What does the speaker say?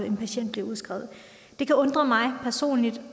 en patient bliver udskrevet det kan undre mig personligt